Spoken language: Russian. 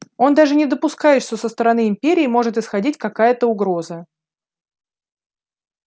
он даже не допускает что со стороны империи может исходить какая-то угроза